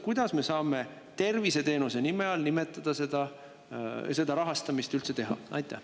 Kuidas me saame seda üldse terviseteenuse nime all rahastada?